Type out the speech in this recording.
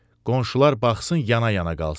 Qonşular baxsın, yana-yana qalsın.